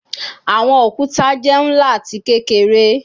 Awọn okuta jẹ nla ati kekere